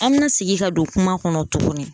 An bɛna segin ka don kuma kɔnɔ tuguni